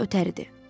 Ötəridir.